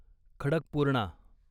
Khadakpurna